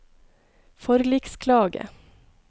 forliksklage